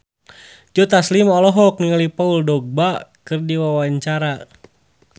Joe Taslim olohok ningali Paul Dogba keur diwawancara